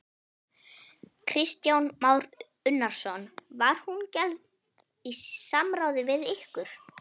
Kristján Már Unnarsson: Var hún gerð í samráði við ykkur?